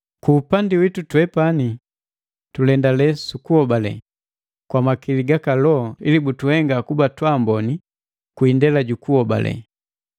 Ku upandi witu, twepani tulendale sukuhobale, kwa makili ga Loho ili butuhenga kuba twaamboni kwi indela jukuhobale.